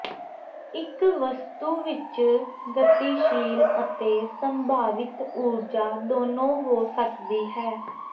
ਇਕ ਵਸਤੂ ਵਿਚ ਗਤੀਸ਼ੀਲ ਅਤੇ ਸੰਭਾਵਿਤ ਊਰਜਾ ਦੋਨੋਂ ਹੋ ਸਕਦੀ ਹੈ